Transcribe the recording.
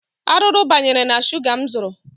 Arụrụ banyere na shuga m zụrụ.